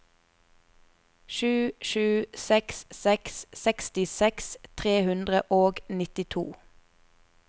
sju sju seks seks sekstiseks tre hundre og nittito